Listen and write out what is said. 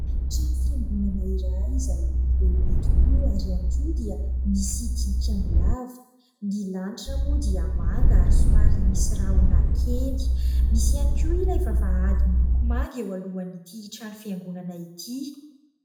Trano fiangonana iray izay lehibe tokoa ary ihany koa dia misy tilikambo lava, ny lanitra moa dia manga ary somary misy rahona kely, misy ihany koa ilay vavahady miloko manga eo alohan'ity trano fiangonana ity.